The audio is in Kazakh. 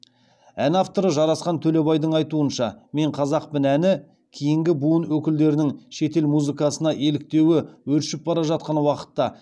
ән авторы жарасқан төлебайдың айтуынша мен қазақпын әні кейінгі буын өкілдерінің шетел музыкасына еліктеуі өршіп бара жатқан уақытта